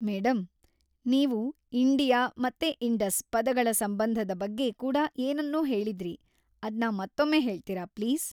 Madam, ನೀವು India ಮತ್ತೆ Indus ಪದಗಳ ಸಂಬಂಧದ ಬಗ್ಗೆ ಕೂಡಾ ಏನನ್ನೊ ಹೇಳಿದ್ರಿ; ಅದ್ನ ಮತ್ತೊಮ್ಮೆ ಹೇಳ್ತೀರಾ ಪ್ಲೀಸ್?